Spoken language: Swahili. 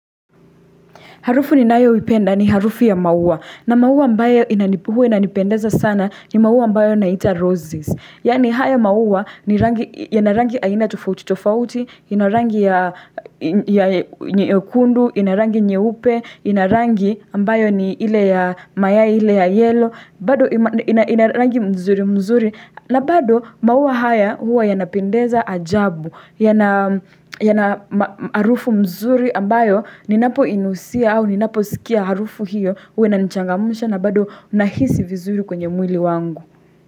Harufu ninayoipenda ni harufu ya maua. Na maua ambayo huwa inanipendeza sana ni maua ambayo inaitwa roses. Yani haya maua yana rangi aina tofauti, tofauti, ina rangi ya nyekundu, ina rangi nyeupe, ina rangi ambayo ni ile ya mayai ile ya yellow, bado ina rangi mzuri mzuri, na bado maua haya huwa yanapendeza ajabu, yana harufu mzuri ambayo ninapoinusia au ninaposikia harufu hiyo huwa inanichangamsha na bado ninahisi vizuri kwenye mwili wangu.